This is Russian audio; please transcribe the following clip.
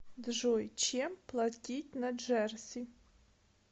джой чем платить на джерси